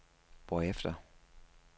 hvorefter